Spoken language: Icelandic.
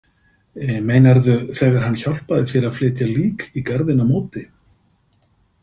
Meinarðu þegar hann hjálpaði þér að flytja lík í garðinn á móti?